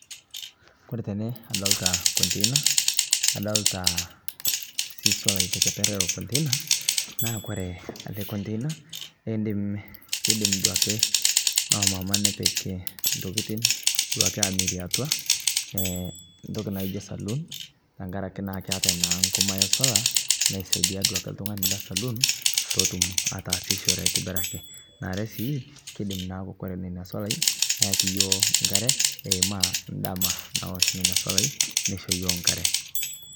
Kore tene adolita container adolita sii solai te kepeer elo container naa kore ele container eidiim, keidiim duake nomama nepiik ntokitin duake amiirie atua e ntokii naijo salon, tang'araki naa keetai naa nkumai esola nesaidia duake ltung'ani le salon pee otuum atasishore aitibiraki. Naare sii keidiim naaku ore nenia solai neeki yoo nkaare eimayu ndaama naosh nenia solai neisho yoo nkaare.